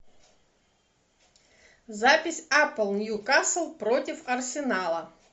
запись апл ньюкасл против арсенала